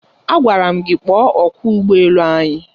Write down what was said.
Agwara m gị kpọọ ọkwọ ụgbọ elu anyị!